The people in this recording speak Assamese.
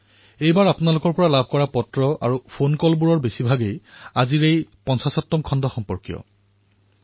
এইবাৰ আপোনালোকৰ যি পত্ৰ আৰু ফোন আমি লাভ কৰিছো সেয়া অধিক সংখ্যাত ৫০তম খণ্ডৰ সন্দৰ্ভতেই আহিছে